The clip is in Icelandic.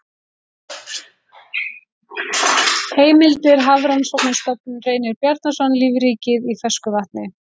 Heimildir Hafrannsóknarstofnun Reynir Bjarnason, Lífríkið í fersku vatni.